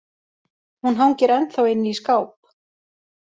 Hún hangir ennþá inni í skáp